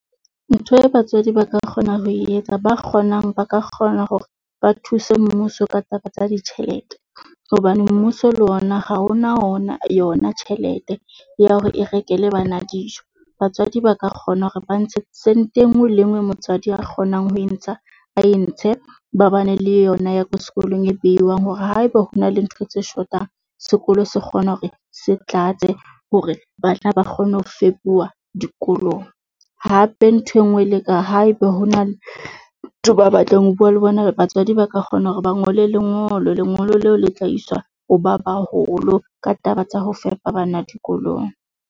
Ntho e batswadi ba ka kgona ho e etsa, ba kgonang ba ka kgona hore ba thuse mmuso ka taba tsa ditjhelete. Hobane mmuso le ona ha o na wona yona tjhelete ya hore e rekele bana dijo. Batswadi ba ka kgona hore ba ntshe sente e nngwe le e nngwe eo motswadi a kgonang ho e ntsha a e ntshe ba bane le yona ya ko sekolong e beuwang. Hore haebe hona le ntho tse shotang, sekolo se kgone hore se tlatse hore ba tla ba kgone ho fepuwa dikolong. Hape ntho e nngwe, le ka haeba hona le batho ba batlang ho bua le bona, batswadi ba ka kgona hore ba ngole lengolo, lengolo leo le tla iswa ho ba baholo ka taba tsa ho fepa bana dikolong.